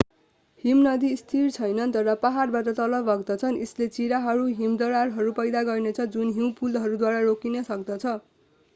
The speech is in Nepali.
हिमनदी स्थिर छैनन् तर पहाडबाट तल बग्दछन् यसले चिराहरू हिमदरारहरू पैदा गर्नेछ जुन हिउँ पुलहरूद्वारा रोकिन सक्दछ